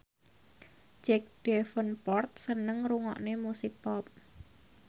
Jack Davenport seneng ngrungokne musik pop